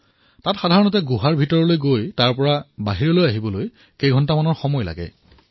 তাত সাধাৰণতে গুহালৈ যাওঁতে আৰু তাৰ পৰা বাহিৰ ওলাবলৈ কিছু ঘণ্টাৰ প্ৰয়োজন হয়